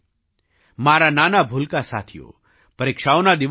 મારા નાનાભૂલકા સાથીઓ પરીક્ષાઓના દિવસો આવશે